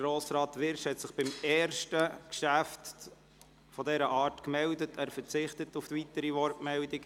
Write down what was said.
Grossrat Wyrsch hat sich beim ersten dieser Geschäfte zu Wort gemeldet, aber er verzichtet jetzt auf weitere Wortmeldungen.